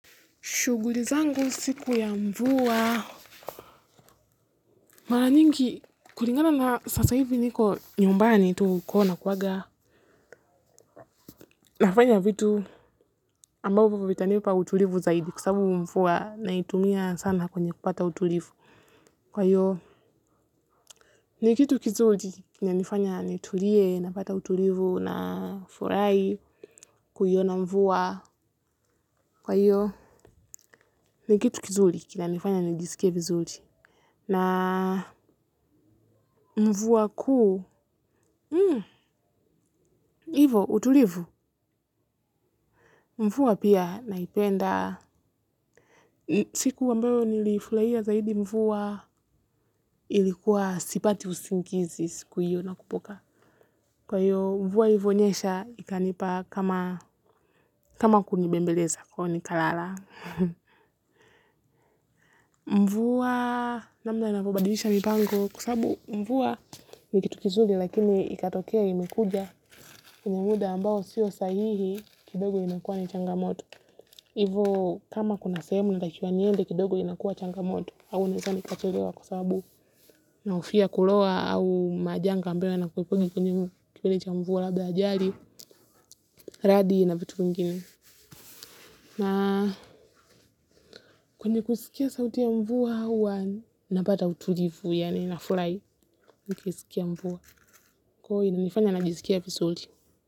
Shughuli zangu siku ya mvua. Mara nyingi, kulingana na sasa hivi niko nyumbani tu kuona kuwaga. Nafanya vitu ambao vita nipa utulivu zaidi kwasababu mvua na itumia sana kwenye kupata utulivu. Kwa hiyo, ni kitu kizuri, kina nifanya nitulie, napata utulivu na furahi, kuiona mvua. Kwa hiyo, ni kitu kizuri, kina nifanya nijisike vizuri. Na mvua kuu, ivo utulivu, mvua pia naipenda, siku ambayo nilifurahia zaidi mvua ilikuwa sipati usingizi siku hiyo nakumbuka. Kwa hiyo mvua ilivo nyesha, ikanipa kama kunibembeleza kwa nikalala. Mvua, namna inapobadilisha mipango kwasababu mvua nikitukizuri lakini ikatokea imekuja. Kwenye muda ambao siyo sahihi kidogo inakuwa ni changamoto hivyo kama kuna sehemu natakiwa niende kidogo inakuwa changamoto au nisani kachelewa kwasababu nahofia kuloa au majanga ambayo yana kuwepo kwenye mbele cha mvua labda ajali, radi na vitu vingine na kwenye kusikia sauti ya mvua huwa napata utulivu yaani nafurahi nikisikia mvua kwa inanifanya najisikia vizuri.